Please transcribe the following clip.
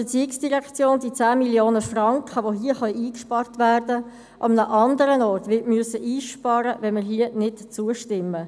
Wir sind überzeugt, dass die ERZ die hier eingesparten 10 Mio. Franken an einem anderen Ort einsparen muss, wenn wir hier nicht zustimmen.